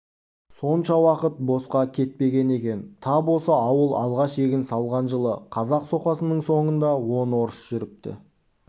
сонша уақыт босқа етпеген екен тап осы ауыл алғаш егін салған жылы қазақ соқасының соңында он орыс жүріпті